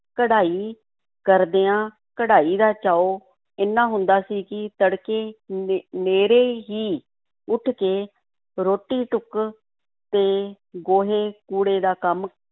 ਕਢਾਈ ਕਰਦਿਆਂ, ਕਢਾਈ ਦਾ ਚਾਉ ਏਨਾ ਹੁੰਦਾ ਸੀ ਕਿ ਤੜਕੇ ਨੇ~ ਨੇਰ੍ਹੇ ਹੀ ਉੱਠ ਕੇ ਰੋਟੀ-ਟੁੱਕ ਤੇ ਗੋਹੇ-ਕੂੜੇ ਦਾ ਕੰਮ